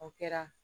O kɛra